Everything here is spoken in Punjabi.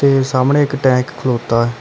ਤੇ ਸਾਹਮਣੇ ਇੱਕ ਟੈਂਕ ਖਲੋਤਾ।